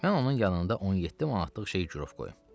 Mən onun yanında 17 manatlıq şey girov qoyum.